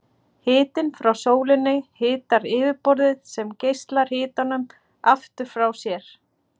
Hitinn frá sólinni hitar yfirborðið sem geislar hitanum aftur frá sér.